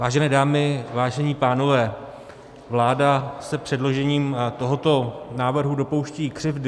Vážené dámy, vážení pánové, vláda se předložením tohoto návrhu dopouští křivdy.